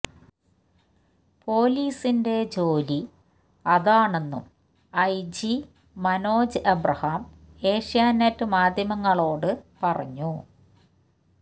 പൊലീസിന്റെ ജോലി അതാണെന്നും ഐജി മനോജ് എബ്രഹാം ഏഷ്യാനെറ്റ് മാധ്യമങ്ങളോട് പറഞ്ഞു